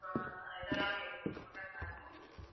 இதெல்லாமே இருக்கும் tomato sauce உம்